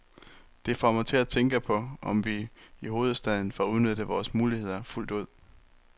Det får mig til at tænke på, om vi i hovedstaden får udnyttet vores muligheder fuldt ud.